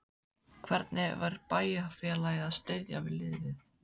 Hvernig er bæjarfélagið að styðja við liðið?